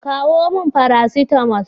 Kawo min Faracetamal.